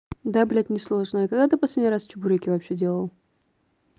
да блядь несложная а когда ты последний раз чебуреки вообще делал